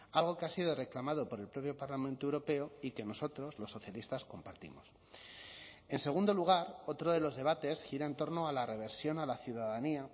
algo que ha sido reclamado por el propio parlamento europeo y que nosotros los socialistas compartimos en segundo lugar otro de los debates gira en torno a la reversión a la ciudadanía